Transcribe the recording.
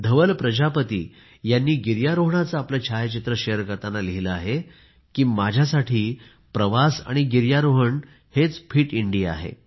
धवल प्रजापती यांनी गिर्यारोहणाचे आपले छायाचित्र शेअर करताना लिहिले की माझ्यासाठी प्रवास आणि गिर्यारोहण हेच फिट इंडिया आहे